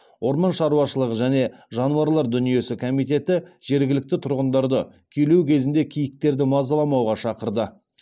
орман шаруашылығы және жануарлар дүниесі комитеті жергілікті тұрғындарды күйлеу кезінде киіктерді мазаламауға шақырады